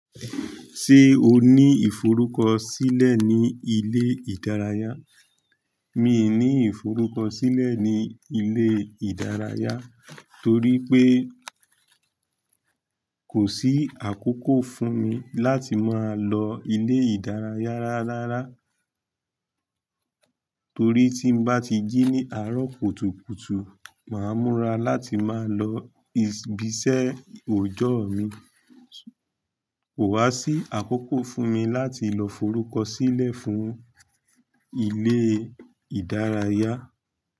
Ṣé o ní ìforúkọ sílẹ̀ ní ilé ìdárayá? Mii ní ìforúkọ sílẹ̀ ní ilé ìdárayá torí pé kò sí àkókò fún mi láti máa lọ ilé ìdárayá rárára torí tí n bá ti jí ní àárọ̀ kùtùkùtù, màá múra láti máa lọ ìsbìṣé ọjọ́ mi. Kò wá sí àkókò fún mi láti lọ forúkọ sílẹ̀ fún ilé ìdárayá.